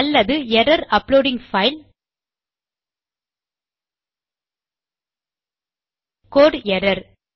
அலல்து error uploading file code error